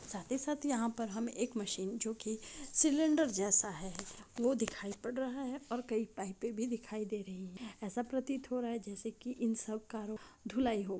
साथी ही साथ यहाँ पर हम एक मशीन जो की सिलेंडर जैसा है वो दिखाई पड़ रहा है और कई पाइपें भी दिखाई दे रही है। ऐसा प्रतीत हो रहा है जैसे की इन सब का धुलाई हो---